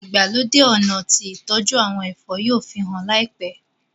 ìgbàlódé ọnà tí ìtọjú àwọn ẹfọ yóò fihàn láìpé.